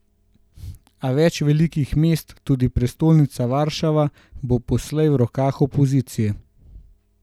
A več velikih mest, tudi prestolnica Varšava, bo poslej v rokah opozicije.